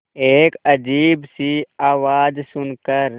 एक अजीब सी आवाज़ सुन कर